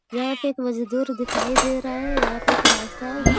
यहां पे एक मजदूर दिखाई दे रहा है यहां पे एक रास्ता है।